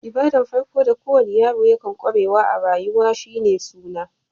Ibada'n farko da ko wani yaro kan kwarewa a'rayuwa shine"suna."